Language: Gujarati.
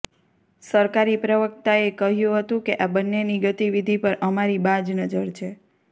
સરકારી પ્રવક્તાએ કહ્યું હતું કે આ બંનેની ગતિવિધિ પર અમારી બાજ નજર છે